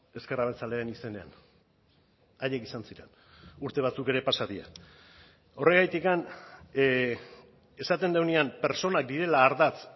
ezker abertzaleen izenean haiek izan ziren urte batzuk ere pasa dira horregatik esaten dugunean pertsonak direla ardatz